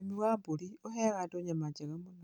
Ũrĩmi wa mburi ũheaga andũ nyama njega mũno.